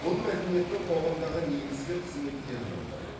бұл мәдениеттің қоғамдағы негізгі қызметтерінің бірі